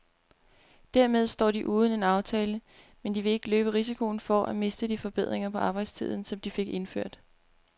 Dermed står de uden en aftale, men de vil ikke løbe risikoen for at miste de forbedringer på arbejdstiden, som de fik indført.